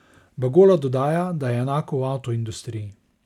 Bagola dodaja, da je enako v avtoindustriji.